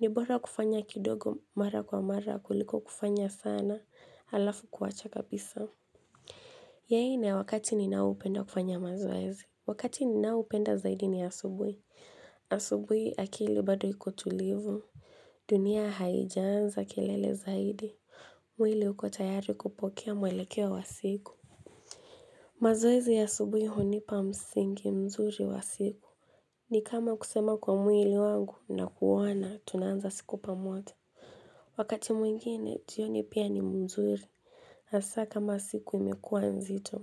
Ni bora kufanya kidogo mara kwa mara kuliko kufanya sana, alafu kuwacha kabisa. Ya nne ni wakati ninaopenda kufanya mazoezi Wakati ninaopenda zaidi ni asubui. Asubui akili bado iko tulivu. Dunia haijaanza kelele zaidi. Mwili uko tayari kupokea mwelekeo wa siku. Mazoezi ya asubui hunipa msingi mzuri wa siku. Ni kama kusema kwa mwili wangu na kuwaana, tunaanza siku pamoja Wakati mwingine, jioni pia ni mzuri. Hasa kama siku imekuwa nzito.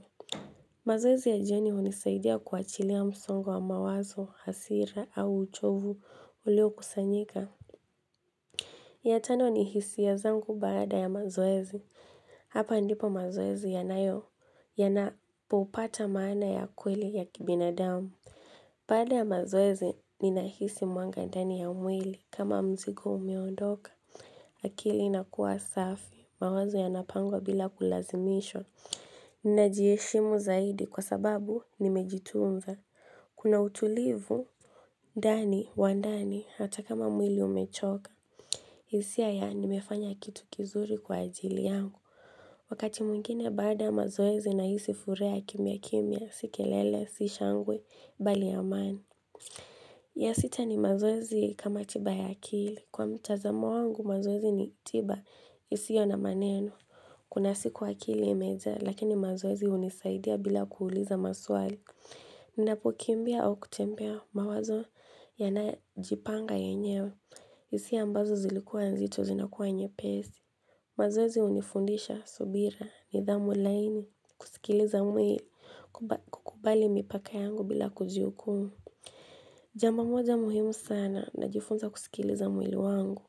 Mazoezi ya jioni hunisaidia kuachilia msongo wa mawazo, hasira au uchovu uliokusanyika. Ya tano ni hisia zangu baada ya mazoezi Hapa ndipo mazoezi yanayo, yanapopata maana ya kweli ya kibinadamu Baada ya mazoezi ninahisi mwanga ndani ya mwili kama mzigo umeondoka, akili inakua safi, mawazo yanapangwa bila kulazimishwa najieshimu zaidi kwa sababu nimejitunza. Kuna utulivu ndani, wa ndani, hata kama mwili umechoka. Hisia ya nmefanya kitu kizuri kwa ajili yangu Wakati mwingine baada ya mazoezi nahisi furaha ya kimia kimia, si kelele, si shangwe, bali amani. Ya sita ni mazoezi kama tiba ya akili Kwa mtazamo wangu mazoezi ni tiba isiyo na maneno Kuna siku akili ya imejaa Lakini mazoezi hunisaidia bila kuuliza maswali napokimbia au kutembea mawazo Yanajipanga yenyewe hisia ambazo zilikuwa nzito zinakuwa nyepesi mazoezi hunifundisha subira nidhamu laini Sikiliza mwe kukubali mipaka yangu bila kujihukumu Jambo moja muhimu sana najifunza kusikiliza mwili wangu.